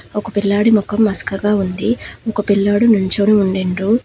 ఒక పిల్లాడి మొఖం మస్కగా ఉంది ఇంకో పిల్లోడు నించోని ఉడిండ్రు.